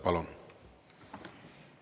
Palun!